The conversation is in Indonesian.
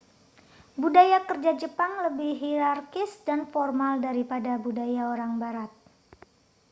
budaya kerja jepang lebih hierarkis dan formal daripada budaya orang barat